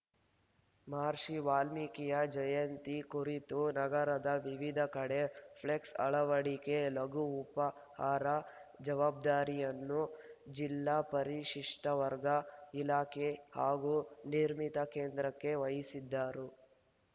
ಮಹರ್ಷಿ ವಾಲ್ಮೀಕಿ ಜಯಂತಿ ಕುರಿತು ನಗರದ ವಿವಿಧೆಡೆ ಫ್ಲೆಕ್ಸ್‌ ಅಳವಡಿಕೆಲಘು ಉಪಹಾರದ ಜವಾಬ್ದಾರಿಯನ್ನು ಜಿಲ್ಲಾ ಪರಿಶಿಷ್ಟವರ್ಗ ಇಲಾಖೆ ಹಾಗೂ ನಿರ್ಮಿತ ಕೇಂದ್ರಕ್ಕೆ ವಹಿಸಿದರು